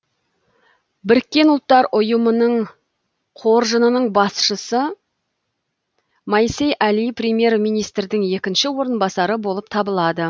біріккен ұлттар ұйымының қоржынының басшысы моисей әли премьер министрдің екінші орынбасары болып табылады